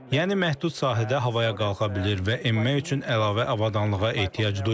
Yəni məhdud sahədə havaya qalxa bilir və enmək üçün əlavə avadanlığa ehtiyac duymur.